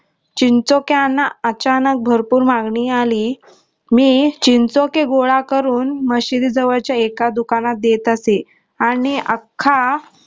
चिंचोक्याना अचानक भरपूर मागणी आली मी चिंचोके गोळा करून मशिदी जवळच्या एका दुकानात देत असे आणि अख्खा